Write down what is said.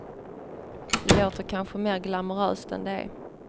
Låter kanske mer glamoröst än det är.